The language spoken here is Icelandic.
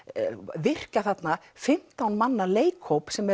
virkja þarna fimmtán manna leikhóp sem